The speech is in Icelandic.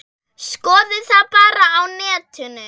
Skoðið það bara á netinu.